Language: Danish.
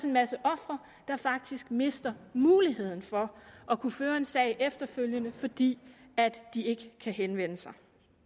en masse ofre der faktisk mister muligheden for at kunne føre en sag efterfølgende fordi de ikke kan henvende sig